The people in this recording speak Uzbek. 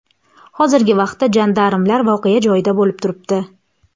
Hozirgi vaqtda jandarmlar voqea joyida bo‘lib turibdi.